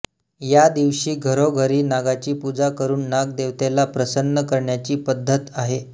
या दिवशी घरोघरी नागाची पूजा करून नागदेवतेला प्रसन्न करण्याची पद्धत आहे